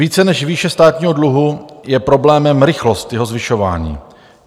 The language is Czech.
Více než výše státního dluhu je problémem rychlost jeho zvyšování.